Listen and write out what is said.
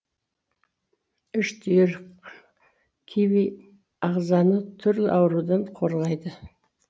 үш түйір киви ағзаны түрлі аурудан қорғайды